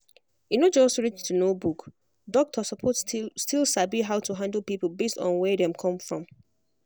e no just reach to know book doctor suppose still still sabi how to handle people based on where dem come from.